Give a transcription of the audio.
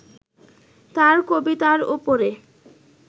তাঁর কবিতার ওপরে